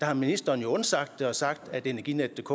har ministeren jo undsagt det og sagt at energinetdk